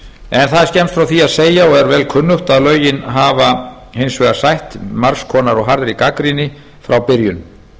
en það er skemmst frá því að segja og er vel kunnugt að lögin hafa hins vegar sætt margs konar og harðri gagnrýni frá byrjun